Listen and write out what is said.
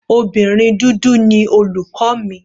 Obìnrin dúdú ni olùkọ́ mi.